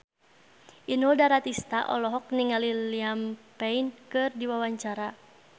Inul Daratista olohok ningali Liam Payne keur diwawancara